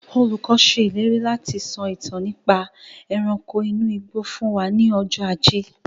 Olùkọ́ se ìlérí láti sọ ìtàn nípa ẹranko inú igbó fún wa ní ọjọ́ ajé